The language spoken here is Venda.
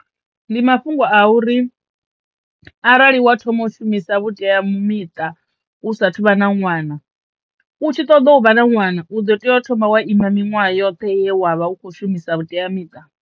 Ndi mafhungo a uri arali wa thoma u shumisa vhuteamiṱa u sathu vha na ṅwana u tshi ṱoḓo u vha na ṅwana u ḓo teyo u thoma wa ima miṅwaha yoṱhe ye wa vha u kho shumisa vhuteamiṱa.